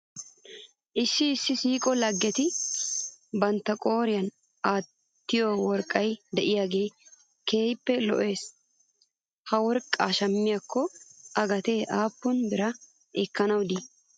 Issi issi siiqo laggeti bantta qooriyan aattiyoo worqqay de'iyaagee keehippe lo'es. He worqqaa shammiyaakko a gattee aappun biraa ekkanaw de'ii?